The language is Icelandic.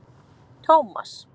Tómas